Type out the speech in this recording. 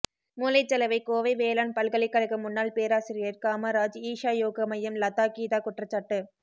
மூளைச்சலவைகோவை வேளாண் பல்கலைக்கழக முன்னாள் பேராசிரியர் காமராஜ் ஈஷா யோகா மையம் லதா கீதா குற்றச்சாட்டு